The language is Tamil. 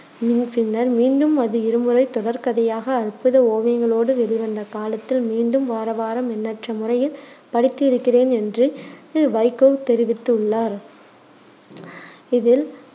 பின்னர் மீண்டும் அது இருமுறை தொடர்கதையாக அற்புத ஓவியங்களோடு வெளிவந்த காலத்தில் மீண்டும் வாரவாரம் எண்ணற்ற முறையில் படித்து இருக்கிறேன் என்று வைகோ தெரிவித்து உள்ளார். இது